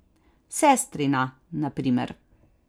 Sestrina, na primer.